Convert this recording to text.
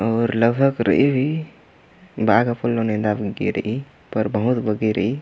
अऊर लगभग रइई भी बाग फुल्लो नेदा बनके रइई बहुत बग्गे रइई।